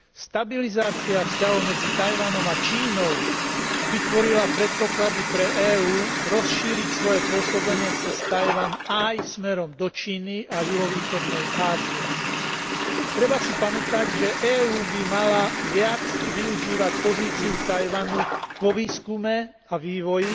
Stabilizácia vzťahov medzi Taiwanom a Čínou vytvorila predpoklady pre EÚ rozšíriť svoje pôsobenie cez Taiwan aj smerom do Číny a juhovýchodnej Ázie. Treba si pamätať, že EÚ by mala viac využívať pozíciu Taiwanu vo výskume a vývoji,